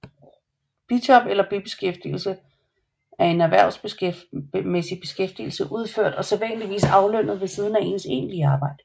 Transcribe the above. Bijob eller bibeskæftigelse er en erhvervsmæssig beskæftigelse udført og sædvanligvis aflønnet ved siden af ens egentlige arbejde